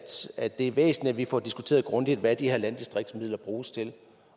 synes at det er væsentligt at vi får diskuteret grundigt hvad de her landdistriktsmidler bruges til